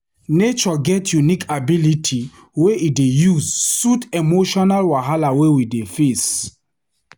Nature get unique ability wey e use soothe emotional wahala wey we dey face.